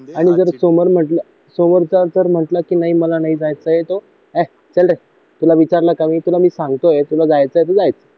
आणि जर समोर म्हटलं समोरचा असं म्हटलं तर मला नाही जायचं हे चल रे तुला विचारलं की मी तुला मी सांगतोय की तुला जायचं आहे तर जायचं